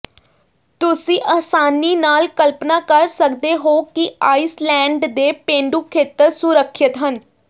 ਤੁਸੀ ਆਸਾਨੀ ਨਾਲ ਕਲਪਨਾ ਕਰ ਸਕਦੇ ਹੋ ਕਿ ਆਈਸਲੈਂਡ ਦੇ ਪੇਂਡੂ ਖੇਤਰ ਸੁਰੱਖਿਅਤ ਹਨ